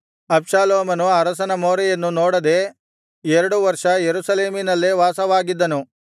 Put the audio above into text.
ಅಬ್ಷಾಲೋಮನು ಅರಸನ ಮೋರೆಯನ್ನು ನೋಡದೆ ಎರಡು ವರ್ಷ ಯೆರೂಸಲೇಮಿನಲ್ಲೇ ವಾಸವಾಗಿದ್ದನು